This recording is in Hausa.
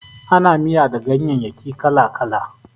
Ana miya da ganyayyaki kala-kala.